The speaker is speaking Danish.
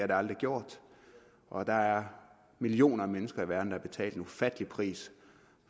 det aldrig gjort og der er millioner af mennesker i verden der har betalt en ufattelig pris